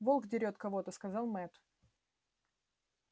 волк дерёт кого то сказал мэтт